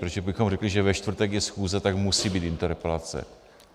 Protože kdybychom řekli, že ve čtvrtek je schůze, tak musí být interpelace.